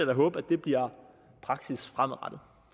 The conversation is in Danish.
da håbe at det bliver praksis fremadrettet